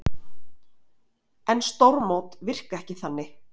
En stórmót virka ekki þanni